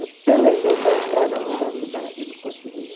Eu pelejei para entrar na universidade, não conseguia.